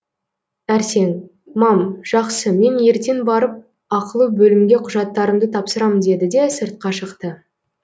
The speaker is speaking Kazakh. әрсен мам жақсы мен ертең барып ақылы бөлімге құжаттарымды тапсырам деді де сыртқа шықты